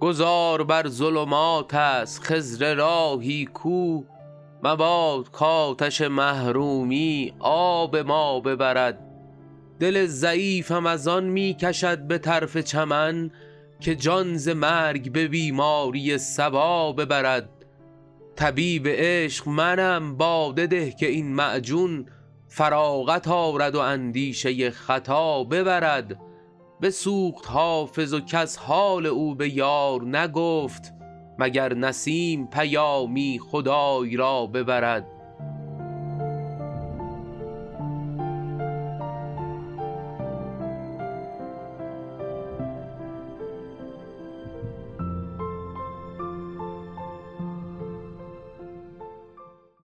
گذار بر ظلمات است خضر راهی کو مباد کآتش محرومی آب ما ببرد دل ضعیفم از آن می کشد به طرف چمن که جان ز مرگ به بیماری صبا ببرد طبیب عشق منم باده ده که این معجون فراغت آرد و اندیشه خطا ببرد بسوخت حافظ و کس حال او به یار نگفت مگر نسیم پیامی خدای را ببرد